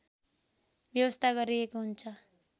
व्यवस्था गरिएको हुन्छ